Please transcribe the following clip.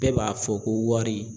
Bɛɛ b'a fɔ ko wari.